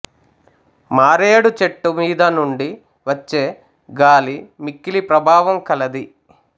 మారేడు చెట్టు మీదనుండి వచ్చే గాలి మిక్కిలి ప్రభావం కలది